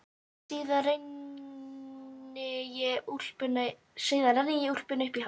Síðan renni ég úlpunni upp í háls.